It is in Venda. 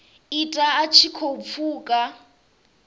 ita a tshi khou pfuka